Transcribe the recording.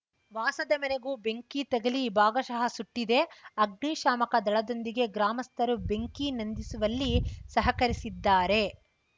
ವಾಸದ ಮನೆಗೂ ಬೆಂಕಿ ತಗಲಿ ಭಾಗಶಃ ಸುಟ್ಟಿದೆ ಅಗ್ನಿ ಶಾಮಕ ದಳದೊಂದಿಗೆ ಗ್ರಾಮಸ್ಥರು ಬೆಂಕಿ ನಂದಿಸುವಲ್ಲಿ ಸಹಕರಿಸಿದ್ದಾರೆ